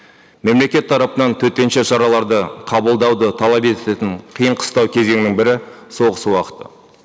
мемлекет тарапынан төтенше шараларды қабылдауды талап ететін қиын қыстау кезеңнің бірі соғыс уақыты